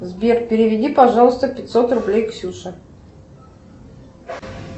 сбер переведи пожалуйста пятьсот рублей ксюше